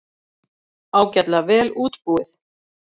Ágætlega vel útbúið.